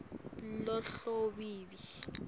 lohhavivi